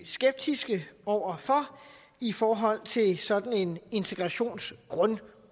skeptiske over for i forhold til sådan en integrationsgrunduddannelse